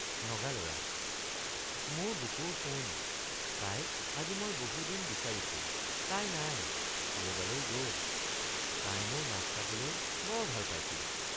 নগালৰা—মোৰ বুকুৰ সোণ তাইক আজি মই বহুদিন বিচাৰিছো তাই নাই কৰবালৈ গল তাই মোৰ নাচ চাবলৈ বৰ ভাল পাইছিল।